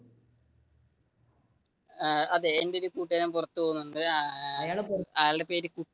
ആഹ് അതെ എന്റെ ഒരു കൂട്ടുകാരൻ പുറത്തു പോവുന്നുണ്ട് അയാളുടെ പേര്